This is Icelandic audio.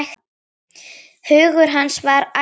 Hugur hans var ætíð þar.